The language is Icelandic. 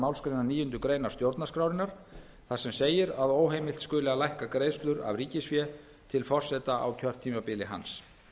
málsgreinar níundu grein stjórnarskrárinnar þar sem segir að óheimilt skuli að lækka greiðslur af ríkisfé til forseta á kjörtímabili hans